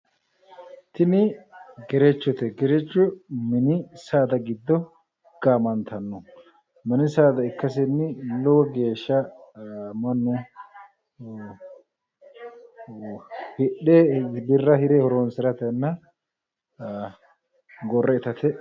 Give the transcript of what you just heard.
Tini gerechote. Gerecho mini saada giddo gaamantanno. Mini saada ikkasenni lowo geeshsha mannu hidhe birra hire horoonsiratenna gorre itate...